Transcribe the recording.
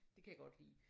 Det kan jeg godt lide